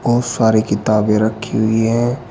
बहोत सारे किताबें रखी हुई है।